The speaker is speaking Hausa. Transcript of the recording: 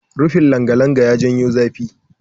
Rufin langalanga yana janyo zafi.